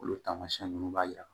Olu taamasiyɛn ninnu b'a jira